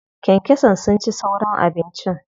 Kyankyasan sun ci sauran abincin.